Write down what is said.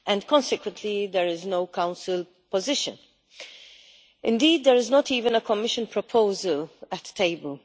Consequently, there is no Council position. Indeed, there is not even a Commission proposal on the table.